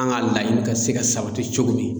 An ka laɲini ka se ka sabati cogo min.